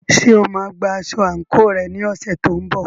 Ṣé o máa gba aṣọ àǹkóò rẹ ní ọ̀sẹ̀ tó ń bọ̀?